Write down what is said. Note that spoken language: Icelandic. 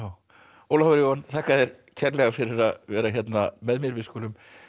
Ólafur Jóhann þakka þér kærlega fyrir að vera hérna með mér við skulum